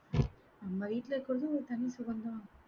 நம்ம வீட்டுல இருக்கிறதும் ஒரு தனி சுகம்தான்.